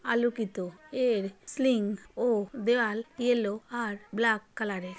আলোকিত এর সিলিং ও দেয়াল ইয়লো আর ব্ল্যাক কালার এর।